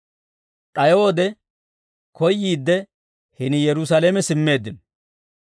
D'ayo wode koyyiidde hini Yerusaalame simmeeddino.